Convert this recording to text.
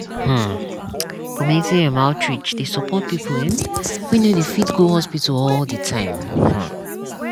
hmmcommunity um outreach dey support people um wey no dey fit go hospital all the time. um